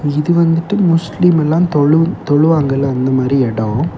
இது வந்துட்டு முஸ்லீம் எல்லாம் தொழு தொழுவங்கல அந்த மாரி இடம்.